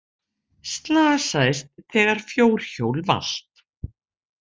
Slasaðist þegar fjórhjól valt